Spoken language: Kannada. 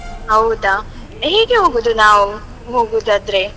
ಹೌದಾ? ಹೇಗೆ ಹೋಗುದು ನಾವು ಹೋಗುವುದಾದ್ರೆ?